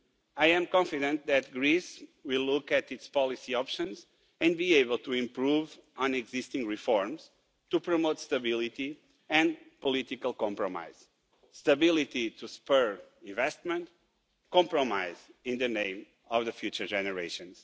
I am confident that Greece will look at its policy options and be able to improve on existing reforms to promote stability and political compromise stability to spur investment, compromise in the name of future generations.